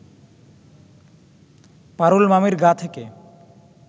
পারুল মামির গা থেকে